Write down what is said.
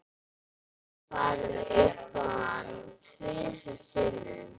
Ég hef farið upp í hann tvisvar sinnum.